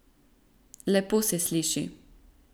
Lepo se sliši.